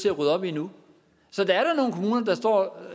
at rydde op i nu så der er